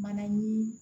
Bana ni